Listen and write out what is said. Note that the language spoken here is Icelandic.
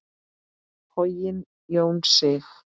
Hogginn Jón Sig.